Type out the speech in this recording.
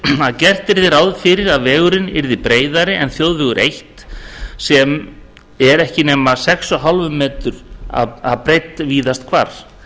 að gert yrði ráð fyrir að vegurinn yrði breiðari en þjóðvegur eitt sem er ekki nema sex komma fimm m breidd víðast hvar